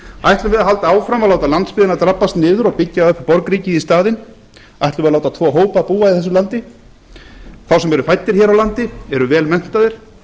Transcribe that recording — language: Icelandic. ætlum við að halda áfram að láta landsbyggðina drabbast niður og byggja upp borgríkið í staðinn ætlum við að láta tvo hópa búa í þessu landi þá sem eru fæddir hér á landi eru vel menntaðir